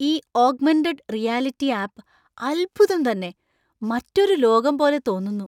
ഈ augmented reality app അദ്ഭുതം തന്നെ. മറ്റൊരു ലോകം പോലെ തോന്നുന്നു.